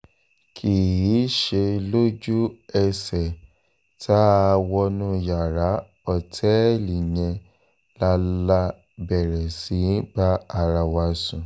kì í ṣe lójú-ẹsẹ̀ tá a wọnú yàrá òtẹ́ẹ̀lì yẹn la la bẹ̀rẹ̀ sí í bá ara wa sùn